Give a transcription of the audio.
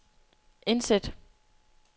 indsæt